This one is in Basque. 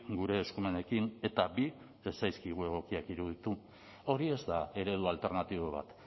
gure eskumenekin eta bi ez zaizkigu egokiak iruditu hori ez da eredu alternatibo bat